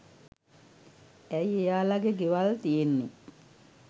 ඇයි එයාලගෙ ගෙවල් තියෙන්නෙ